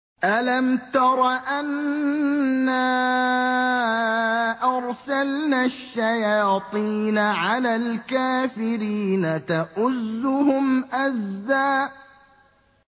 أَلَمْ تَرَ أَنَّا أَرْسَلْنَا الشَّيَاطِينَ عَلَى الْكَافِرِينَ تَؤُزُّهُمْ أَزًّا